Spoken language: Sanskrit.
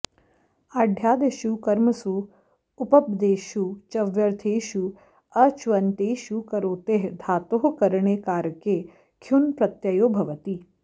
आढ्यादिषु कर्मसु उपपदेषु च्व्यर्थेषु अच्व्यन्तेषु करोतेः धातोः करणे कारके ख्युन् प्रत्ययो भवति